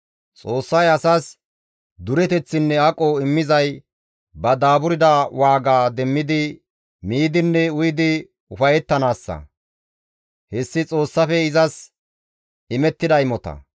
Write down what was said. Xoossay asas dureteththinne aqo immizay ba daaburda waaga demmidi miidinne uyidi ufayettanaassa. Hessi Xoossafe izas imettida imota.